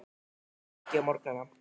Hún borðar ekki á morgnana.